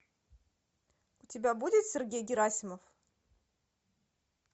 у тебя будет сергей герасимов